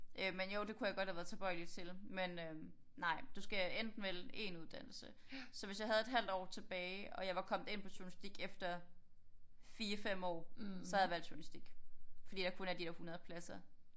Øh men jo det kunne jeg godt have været tilbøjelig til men øh nej du skal enten vælge 1 uddannelse så hvis jeg havde et halvt år tilbage og jeg var kommet ind på journalistik efter 4 5 år så havde jeg valgt journalistik fordi der kun er de der 100 pladser